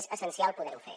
és essencial poder ho fer